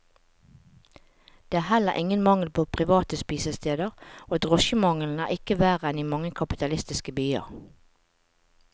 Det er heller ingen mangel på private spisesteder, og drosjemangelen er ikke verre enn i mange kapitalistiske byer.